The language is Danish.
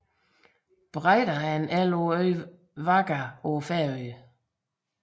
Breiðá er en elv på øen Vágar på Færøerne